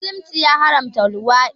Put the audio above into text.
Musulunci ya haramta luwaɗi